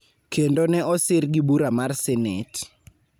kendo ne osir gi bura mar Senet,